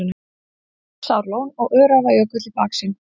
Jökulsárlón og Öræfajökull í baksýn.